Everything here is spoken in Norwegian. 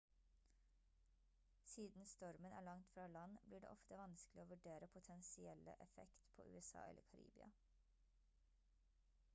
siden stormen er langt fra land blir det ofte vanskelig å vurdere potensielle effekt på usa eller karibia